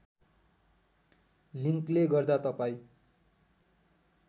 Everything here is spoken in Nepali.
लिङ्कले गर्दा तपाईँ